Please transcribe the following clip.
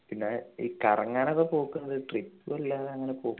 പിന്നെ ഈ കറങ്ങാനൊക്കെ പോകുന്നത് trip അല്ല അങ്ങനെ പോ